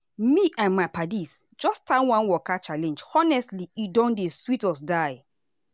me and my paddies just start one waka challenge honestly e don dey sweet us die.